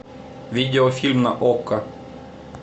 видеофильм на окко